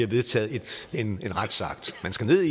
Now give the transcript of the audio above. vedtaget en retsakt man skal ned